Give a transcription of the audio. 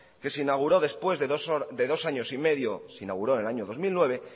que se inauguró después de dos años y medio se inauguró en el año dos mil nueve